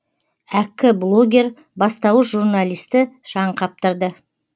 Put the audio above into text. әккі блогер бастауыш журналистті шаң қаптырды